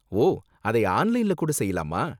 ஓ, அதை ஆன்லைன்ல கூட செய்யலாமா?